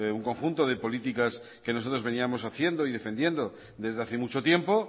un conjunto de políticas que nosotros veníamos haciendo y defendiendo desde hace mucho tiempo